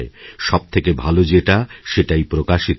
সবথেকে ভালো যেটাসেটাই প্রকাশিত হয়